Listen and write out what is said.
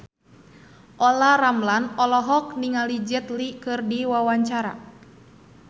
Olla Ramlan olohok ningali Jet Li keur diwawancara